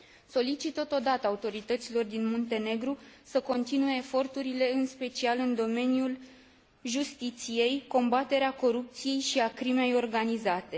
Solicit totodată autorităților din Muntenegru să continue eforturile în special în domeniul justiției, în combaterea corupției și a crimei organizate.